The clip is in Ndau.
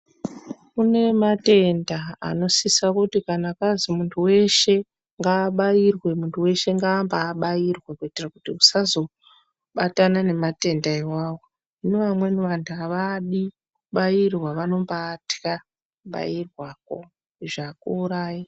Kune matenda anosisa kuti kana kwanzi muntu anzi ngaabayirwe muntu weshe ngaabairwe kuti tisa zobatana nematenda awawo hino vamweni havadi vanombaitya kubairwa izvo haku urayi.